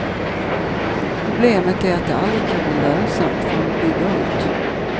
Problemet är att det aldrig kan bli lönsamt förrän de bygger ut.